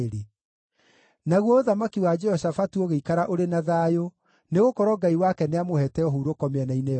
Naguo ũthamaki wa Jehoshafatu ũgĩikara ũrĩ na thayũ, nĩgũkorwo Ngai wake nĩamũheete ũhurũko mĩena-inĩ yothe.